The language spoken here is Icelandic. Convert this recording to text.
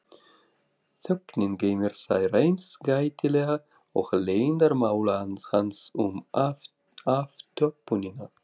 Þögnin geymir þær eins gætilega og leyndarmál hans um aftöppunina.